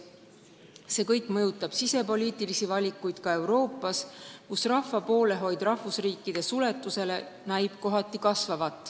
See kõik mõjutab ka sisepoliitilisi valikuid Euroopas, kus näib kohati kasvavat rahva poolehoid rahvusriikide suletusele.